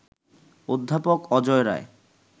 অধ্যাপক অজয় রায়